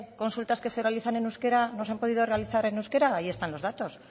consultas que se realizan en euskera no se han podido realizar en euskera ahí están los datos